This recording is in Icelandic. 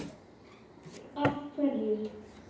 Páll: Af hverju?